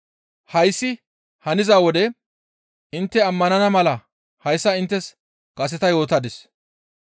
Hayssi haniza wode intte ammanana mala hayssa ta inttes kaseta yootadis.